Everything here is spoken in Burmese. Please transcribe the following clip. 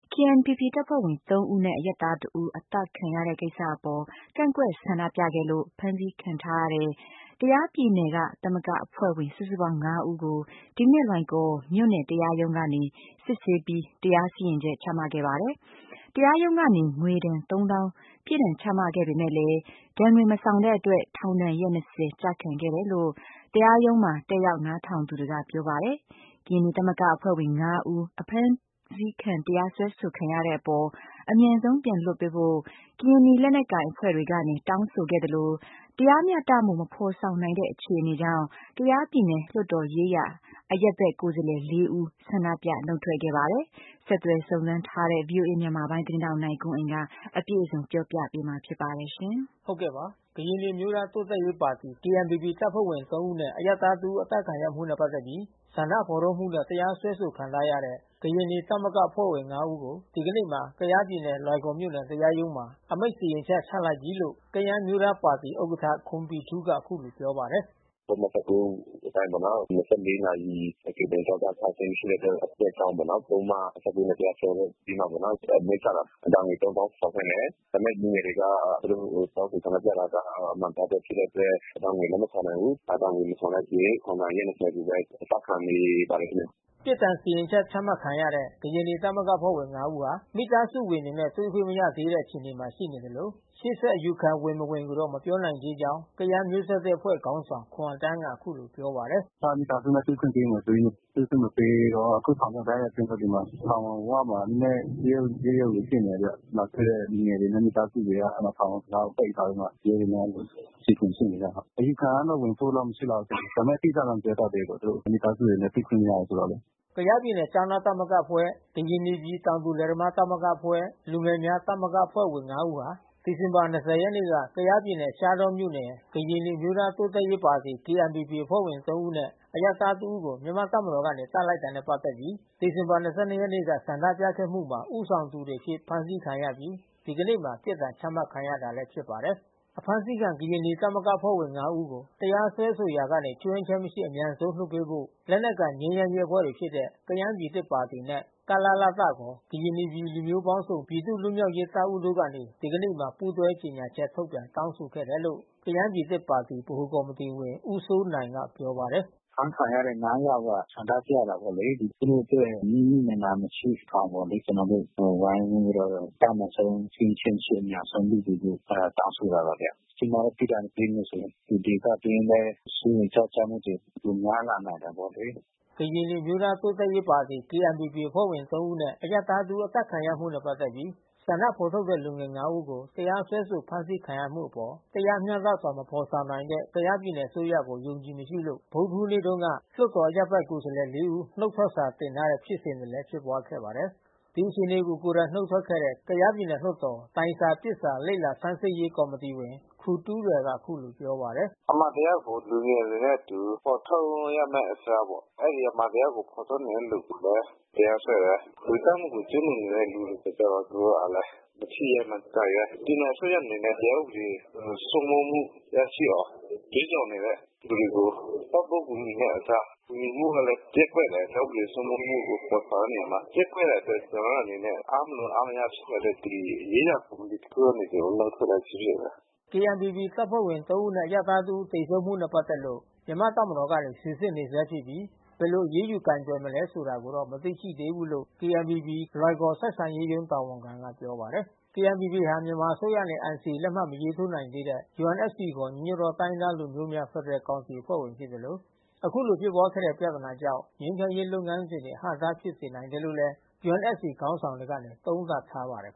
KNPP တပ်ဖွဲ့ဝင် ၃ ဦးနဲ့ အရပ်သား တစ်ဦး အသတ်ခံရတဲ့ကိစ္စအပေါ် ကန့်ကွက်ဆန္ဒပြ ခဲ့လို့ ဖမ်းဆီးခံထားရတဲ့ ကယားပြည်နယ်ကသမဂ္ဂအဖွဲ့ဝင် စုစုပေါင်း ၅ ဦးကို ဒီနေ့ လွိုင်ကော်မြို့နယ်တရားရုံးကနေစစ်ဆေးပြီး တရားစီရင် ချက်ချမှတ်ခဲ့ပါတယ်။ တရားရုံးကနေ ငွေဒဏ်သုံးသောင်း ပြစ်ဒဏ်ချမှတ်ခဲ့ပေမဲ့လည်း ဒဏ်ငွေမဆောင်တဲ့အတွက် ထောင်ဒဏ်ရက် ကျခံခဲ့တယ်လို့ တရားရုံးမှာတက်ရောက်နားထောင်သူတွေကပြောပါတယ်။ ကရင်နီသမဂ္ဂ အဖွဲ့ဝင် ၅ဦး အဖမ်းဆီးခံတရားစွဲဆိုခံရတဲ့အပေါ် အမြန်ဆုံးပြန်လွှတ်ပေးဖို့ ကရင်နီလက်နက်ကိုင်အဖွဲ့တွေကနေ တောင်းဆိုခဲ့သလို တရားမျှတမှုမဖော်ဆောင်နိုင်တဲ့အခြေအနေကြောင့် ကယားပြည်နယ်လွှတ်တော်ရေးရာ အရပ်ဘက် ကိုယ်စားလှယ် ၄ ဦး ဆန္ဒပြနုတ်ထွက်ခဲ့ပါတယ်။ ဆက်သွယ်စုံစမ်းထားတဲ့ ဗွီအိုအေ မြန်မာပိုင်း သတင်းထောက် နိုင်ကွန်းအိန် ကပြောပြပေးမှာ ဖြစ်ပါတယ်။ ကရင်နီအမျိုးသား တိုးတက်ရေးပါတီ တပ်ဖွဲ့ဝင်၃ ဦးနှင့် အရပ်သား ၁ ဦး အသတ်ခံရမှု နှင့် ပတ်သက်ပြီး ဆန္ဒဖေါ်ထုတ်မှုနဲ့တရားစွဲဆိုခံထားရတဲ့ ကရင်နီသမဂ္ဂအဖွဲ့ဝင် ၅ဦးကို ဒီကနေ့မှာ ကယားပြည်နယ် လွိုင်ကော် မြို့နယ်တရားရုံးမှာ အမိန့်စီရင်ချက်ချလိုက်ပြီးလို့ ကယန်းအမျိုးသားပါတီဥက္ကဌ ခွန်ဘီထူးက အခုလို ပြောပါတယ်။ "ပုဒ်မ အတိုင်းပေါ့နော်။ နာရီကြိုတင်အကြောင်းကြားထားခြင်းမရှိတဲ့အတွက် ကြောင့်ပေါ့နော် ပုဒ်မ နဲ့ တရားစွဲပြီးမှပေါ့နော်။ အမိန့်ချတာ ဒဏ်ငွေသုံးသောင်းဆောင်ခိုင်းတယ်။ ဒါပေမဲ့လူငယ်တွေက သူတို့တောင်းဆို ဆန္ဒပြတာက အမှန်တရားအတွက် ဖြစ်တဲ့အတွက် ဒဏ်ငွေလက်မခံနိုင်ဘူး။ ဒဏ်ငွေမဆောင်တဲ့အတွက် ထောင်ဒဏ် အရက် ကိုဘဲအကျခံနေပါတယ်ခင်ဗျ။" ပြစ်ဒဏ်စီရင်ချက်ချမှတ်ခံရတဲ့ ကရင်နီသမဂ္ဂအဖွဲ့ဝင် ၅ဦးဟာ မိသားစုဝင်တွေနဲ့ တွေ့ခွင့်မရသေးတဲ့အခြေအနေ မှာရှိနေသလို ရှေ့ဆက်အယူခံဝင် မဝင်ကိုတော့ မပြောနိုင်သေးကြောင်း ကယန်းမျိုးဆက်သစ်အဖွဲ့ ခေါင်းဆောင် ခွန်အသန်းက အခုလိုပြောပါတယ်။ "အစကမိသားစုနဲ့တွေ့ခွင့်ပေးမယ်ဆိုပြီး တွေ့ခွင့်မပေးတော့ အခုထောင်ထဲတိုက်ရိုက်သွင်းထဲ့ပြီးမှ ထောင်ဝမှာနဲနဲ ရုတ်ရုတ်ဖြစ်နေတယ်ဗျ။ လာတွေ့တဲ့လူငယ်တွေနဲ့ မိသားစုတွေက ထောင်တံခါးပိတ်ထားပြီးမှ ရဲတွေနဲ့အခြေ အတင် ဖြစ်နေတယ်။ အယူခံကတော့ဝင်ဖို့မရှိလောက်ဘူးနဲ့တူတယ်။ ဒါပေမဲ့အတိအကျတော့ မပြောတတ်သေးဘူး။ သူတို့မိသားစုတွေနဲ့ တွေ့ခွင့်မရဘူးဆိုတော့လေ။" ကယားပြည်နယ်ကျောင်းသားသမဂ္ဂအဖွဲ့ ကရင်နီပြည်တောင်သူလယ်သမားသမဂ္ဂအဖွဲ့ လူငယ်များသမဂ္ဂအဖွဲ့ ဝင် လူငယ် ဦးဟာ ဒီဇင်ဘာ ရက်နေ့က ကယားပြည်နယ် ရှားတောမြို့က ကရင်နီအမျိုးသား တိုးတက်ရေးပါတီ KNPP တပ်ဖွဲ့ဝင် ၃ ဦးနဲ့ အရပ်သား ၁ ဦးကို မြန်မာ့တပ်မတော်သားတွေက သတ်လိုက်တာ နဲ့ ပတ်သက်ပြီး ဒီဇင်ဘာ လ ၂၂ ရက်နေ့က ဆန္ဒပြခဲ့မှုမှာ ဦးဆောင်သူတွေအဖြစ်ဖမ်းဆီးခံခဲ့ရပြီး ဒီကနေ့မှာပြစ်ဒဏ်ချမှတ်တာခံခဲ့ရတာပါ။ အဖမ်းဆီးခံကရင်နီသမဂ္ဂအဖွဲ့ဝင် ၅ဦးကို တရားစွဲဆိုရာကနေ ခြွင်းချက်မရှိ အမြန်ဆုံးပြန်လွှတ်ပေးဖို့ လက်နက်ကိုင် ငြိမ်းချမ်းရေးအဖွဲ့တွေဖြစ်တဲ့ ကယန်းပြည် သစ်ပါတီနဲ့ ကလလတခေါ် ကရင်နီပြည်လူမျိုးပေါင်းစုံပြည်သူ့ လွတ် မြောက်ရေးတပ်ဦးတို့ကနေ ဒီကနေ့မှာ ပူးတွဲကြေညာချက်ထုတ်ပြန်တောင်းဆိုခဲ့တယ်လို့ ကယန်းပြည် သစ်ပါတီ ဗဟိုကော်မီတီဝင်ဦးစိုးနိုင်ကပြောပါတယ်။ "အဖမ်းဆီးခံထားရတဲ့ ယောက်ကဆန္ဒပြတာပေါ့လေ သူတို့အတွက်နစ်နစ်နာနာမရှိအောင်ပေါ့လေ။ ကျွန်တော်တို့ ဝိုင်းဝန်းပြီးတော့အတတ်နိုင်ဆုံးခြွင်းချက်မရှိ အမြန်ဆုံးလွှတ်ပေးဖို့ အဲတာတောင်းဆိုတာပါဗျ။ ကြီးမားတဲ့ပြစ်ဒဏ် ပေးမယ်ဆိုရင် ဒီဒေသတွင်းလဲစိုးရိမ်ကြောင့်ကျမှုတွေ ပိုများလာနိုင်တယ်ပေါ့လေ။" ကရင်နီအမျိုးသားတိုးတက်ရေးပါတီ တပ်ဖွဲ့ဝင်၃ ဦးနှင့် အရပ်သား ၁ ဦး အသတ်ခံရမှုနဲ့ပတ်သက်ပြီး ဆန္ဒဖော်ထုတ်တဲ့လူငယ် ၅ ဦးကို တရားစွဲဆို ဖမ်းဆီးခံရမှုအပေါ် တရားမျှတစွာ မဖော်ဆောင်နိုင်တဲ့ ကယားပြည်နယ် အစိုးရကို အယုံအကြည်မရှိလို့ ဗုဒ္ဒဟူးနေ့တုန်းက လွှတ်တော်အရပ်ဘက်ကိုယ်စားလှယ် ၄ ဦး နုတ်ထွက် စာ တင်ထားတဲ့ဖြစ်စဉ်လဲ ဖြစ်ပွါးခဲ့ပါတယ်။ ဒီအခြေအနေကို ကိုယ်တိုင်နှုတ်ထွက်ခဲ့တဲ့ ကယားပြည်နယ်လွှတ်တော် တိုင်စာပစ်စာ လေ့လာဆန်းစစ်ရေး ကော်မ တီဝင် ခူတူးရယ်ကအခုလိုပြောပါတယ်။ "အမှန်တရားကိုလူငယ်တွေနဲ့အတူ ဖေါ်ထုတ်ရမယ့် အစားပေါ့။ အဲဒီအမှန်တရားကိုဖေါ်ထုတ်နေတဲ့လူကိုလဲ တရားစွဲ တယ်။ လူသတ်မှုကိုကျူးလွန်နေတဲ့လူကို သူတို့ကလဲ မထိရဲမကိုင်ရဲ။ ပြည်နယ်အစိုးရအနေနဲ့ တရားဥပဒေစိုးမိုး မှုရရှိအောင် ကြွေးကြော်နေတဲ့သူတွေကို ပံ့ပိုးကူညီမဲ့အစား ကူညီမှုလဲ ပျက်ကွက်တယ်။ တရားဥပဒေစိုးမိုး မှုကိုဖေါ် ဆောင်တဲ့နေရာမှာ ပျက်ကွက်တဲ့အတွက်ကျွန်တော်တို့အနေနဲ့ အားမလိုအားမရဖြစ်လို့ ဒီရေးရာကော်မီတီအဖြစ် ကနေ နုတ်ထွက်လိုက်ခြင်းဖြစ်တယ်။" KNPPတပ်ဖွဲ့ဝင်သုံးဦးနဲ့ အရပ်သားတစ်ဦး သေဆုံးမှုဖြစ်စဉ်နဲ့ပက်သက်လို့ မြန်မာ့တပ်မတော်ကနေ စီစစ်နေဆဲ ဖြစ်ပြီး ဘယ်လို အရေးယူကိုယ်တွယ်မလဲ ဆိုတာကိုတော့ မသိရှိသေးဘူးလို့ KNPPကရင်နီအမျိုးသားတိုးတက် ရေးပါတီ ဆက်ဆံရေးရုံးတာဝန်ခံကပြောပါတယ်။ KNPP အဖွဲ့ဟာ မြန်မာအစိုးရနဲ့NCAလက်မှတ်မထိုးနိုင်သေးတဲ့ UNFCခေါ် ညီညွတ်သောတိုင်းရင်းသားလူမျိုးများ ဖက်ဒရယ်ကောင်စီအဖွဲ့ဝင်ဖြစ်သလို အခုလိုဖြစ်ပွါးခဲ့တဲ့ပြဿနာကြောင့် ငြိမ်းချမ်းရေးလုပ်ငန်းစဉ်တွေ အဟန့်အ တား ဖြစ်စေနိုင်တယ်လို့လဲUNFCခေါင်းဆောင်တွေကသုံးသပ် ထားပါတယ်